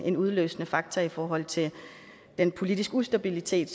en udløsende faktor i forhold til den politiske ustabilitet